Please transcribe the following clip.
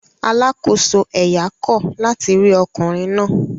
Alákòóso ẹ̀yà kọ̀ láti rí ọkùnrin náà